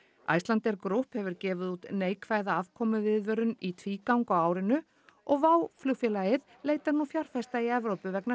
Icelandair Group hefur gefið út neikvæða afkomuviðvörun í tvígang á árinu og flugfélagið leitar nú til fjárfesta í Evrópu vegna